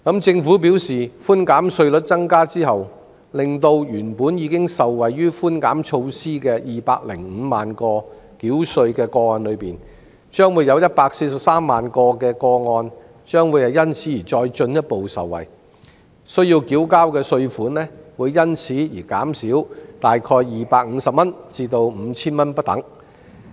政府表示，稅務寬免百分比提高後，原本已受惠於寬免措施的205萬個繳稅個案中，會有143萬個個案因而進一步受惠，需要繳交的稅款會減少約250元至 5,000 元不等。